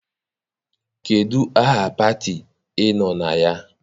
Kedụ aha pati I nọ na ya?